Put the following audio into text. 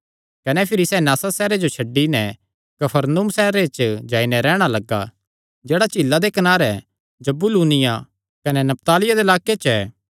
कने भिरी सैह़ नासरत सैहरे जो छड्डी नैं कफरनहूम सैहरे च जाई नैं रैहणा लग्गा जेह्ड़ा झीला दे कनारे जबूलूनियां कने नप्तालियां दे लाक्के च ऐ